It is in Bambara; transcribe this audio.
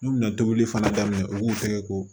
N'u bɛna tobili fana daminɛ u b'u kɛ ko